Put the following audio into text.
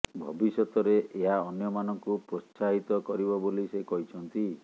ଭବିଷ୍ୟତରେ ଏହା ଅନ୍ୟମାନଙ୍କୁ ପ୍ରୋତ୍ସାହିତ କରିବ ବୋଲି ସେ କହିଛନ୍ତି